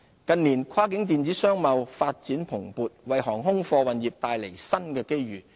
近年，跨境電子商貿發展蓬勃，為航空貨運業帶來新的機遇。